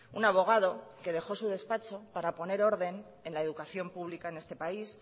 un abogado que dejó su despacho para poner orden en la educación pública en este país